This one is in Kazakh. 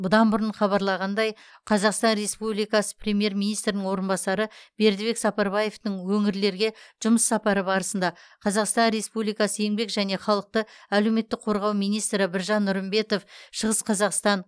бұдан бұрын хабарланғандай қазақстан республикасы премьер министрінің орынбасары бердібек сапарбаевтың өңірлерге жұмыс сапары барысында қазақстан республикасы еңбек және халықты әлеуметтік қорғау министрі біржан нұрымбетов шығыс қазақстан